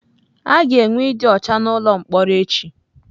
A ga-enwe ịdị ọcha n'ụlọ mkpọrọ echi.